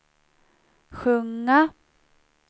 sjunga